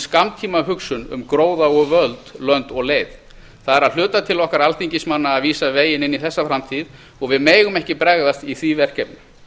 skammtímahugsun um gróða og völd lönd og leið það er að hluta til okkar alþingismanna að vísa veginn inn í þessa framtíð og við megum ekki bregðast í því verkefni